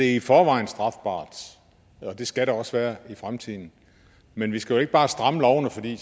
i forvejen strafbart det skal det også i fremtiden men vi skal jo ikke bare stramme lovene fordi